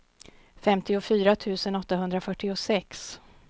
femtiofyra tusen åttahundrafyrtiosex